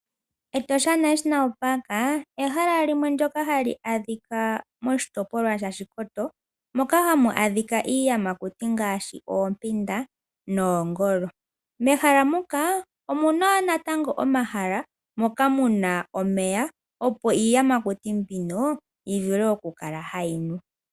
Etosha National Park ehala limwe ndoka hali adhika moshitopolwa mOshikoto moka hamu adhika iiyamakuti ngaashi oompinda noongolo. Mehala muka omuna wo natango omahala moka muna omeya opo iiyamakuti mbino yivule okukala hayi nu.